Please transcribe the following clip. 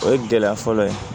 O ye gɛlɛya fɔlɔ ye